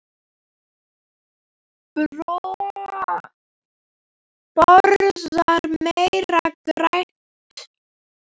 Borða meira grænt.